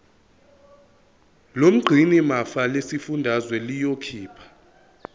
lomgcinimafa lesifundazwe liyokhipha